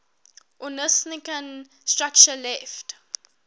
ornithischian structure left